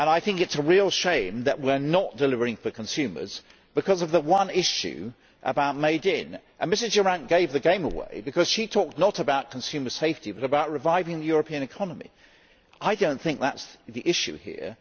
I think it is a real shame that we are not delivering to the consumers because of the one issue of made in', and Ms Durant gave the game away because she talked not about consumer safety but about reviving the European economy. I do not think that is the issue here